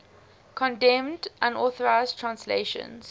condemned unauthorized translations